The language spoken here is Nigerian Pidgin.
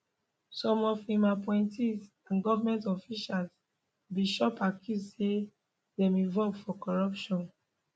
some of im appointees and goment officials bin chop accuse say dem involve for corruption